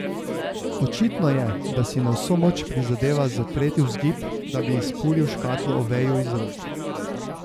Očitno je, da si na vso moč prizadeva zatreti vzgib, da bi izpulil škatlo Oveju iz rok.